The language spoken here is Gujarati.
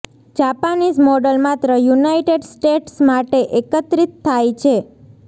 જાપાનીઝ મોડલ માત્ર યુનાઇટેડ સ્ટેટ્સ માટે એકત્રિત થાય છે